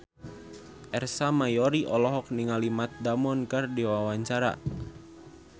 Ersa Mayori olohok ningali Matt Damon keur diwawancara